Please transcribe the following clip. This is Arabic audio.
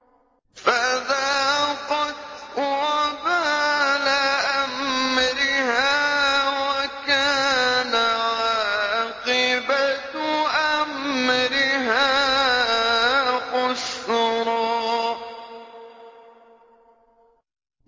فَذَاقَتْ وَبَالَ أَمْرِهَا وَكَانَ عَاقِبَةُ أَمْرِهَا خُسْرًا